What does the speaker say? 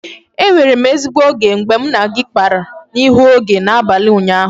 E nwere m ezigbo oge mgbe mụ na gị kpara n'ihu oge n'abalị ụnyaahụ